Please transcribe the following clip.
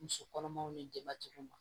Muso kɔnɔmaw ni denbatigi ma